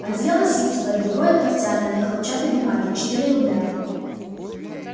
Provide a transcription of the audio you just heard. одеяло ситцевое другое тафтяное на хлопчатой бумаге четыре рубля